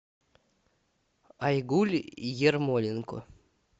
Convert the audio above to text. айгуль ермоленко